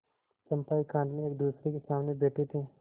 चंपा एकांत में एकदूसरे के सामने बैठे थे